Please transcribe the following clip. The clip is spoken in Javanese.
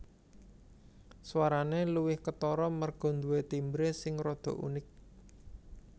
Swarane luwih ketara merga nduwe timbre sing rada unik